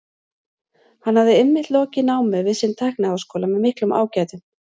Hann hafði einmitt lokið námi við sinn tækniháskóla með miklum ágætum.